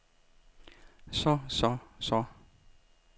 så så så